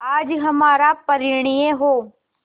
आज हमारा परिणय हो